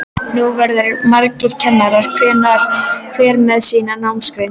Nú verða margir kennarar, hver með sína námsgrein.